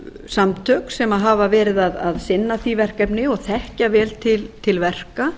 samtök sem hafa verið að sinna því verkefni og þekkja vel til verka